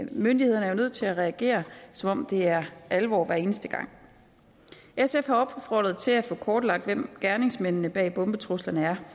myndighederne jo nødt til at reagere som om det er alvor hver eneste gang sf har opfordret til at få kortlagt hvem gerningsmændene bag bombetruslerne er